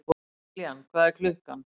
Kiljan, hvað er klukkan?